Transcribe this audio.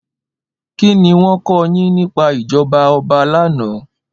Ki niwòn kò yin nipá ijòbá òbá làná?